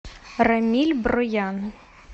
рамиль броян